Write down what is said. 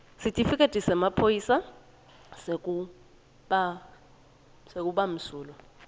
sitifiketi semaphoyisa sekubamsulwa